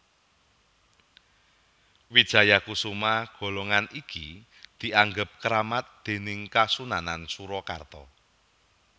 Wijayakusuma golongan iki dianggep kramat déning Kasunanan Surakarta